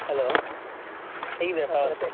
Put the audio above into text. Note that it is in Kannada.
Hello ಹೇಗಿದ್ದೀರಾ .